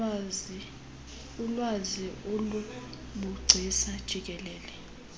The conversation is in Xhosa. ulwazi ngobugcisa jikelele